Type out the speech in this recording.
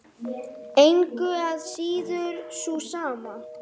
Engu að síður sú sama.